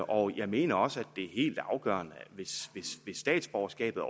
og jeg mener også at det er helt afgørende hvis statsborgerskabet